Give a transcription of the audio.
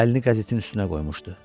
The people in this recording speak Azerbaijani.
Əlini qəzetin üstünə qoymuşdu.